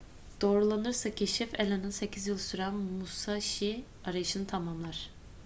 doğrulanırsa keşif allen'ın sekiz yıl süren musashi arayışını tamamlar